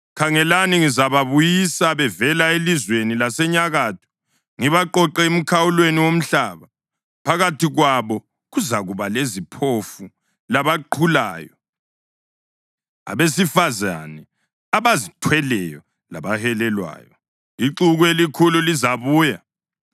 Khangelani, ngizababuyisa bevela elizweni lasenyakatho, ngibaqoqe emikhawulweni yomhlaba. Phakathi kwabo kuzakuba leziphofu labaqhulayo; abesifazane abazithweleyo labahelelwayo; ixuku elikhulu lizabuya.